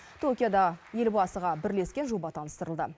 токиода елбасыға бірлескен жоба таныстырылды